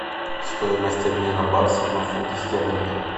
стоимость обмена баксов на фунты стерлинги